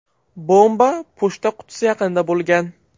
Bomba pochta qutisi yaqinida bo‘lgan.